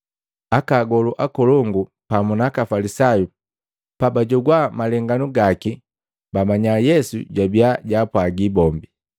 Aka agolu akolongu pamu na aka Afalisayu pabajogwa malenganu gaki, bamanya Yesu jwabia jwaapwaga bombi.